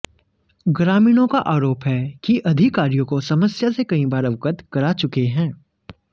ग्रामीणों का आरोप है कि अधिकारियों को समस्या से कई बार अवगत करा चुके हैं